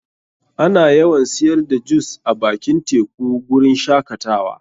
Ana yawan siyar da jus a bakin teku guri n shakatawa.